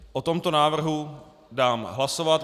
O tomto návrhu dám hlasovat.